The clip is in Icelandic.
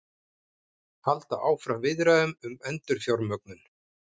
Halda áfram viðræðum um endurfjármögnun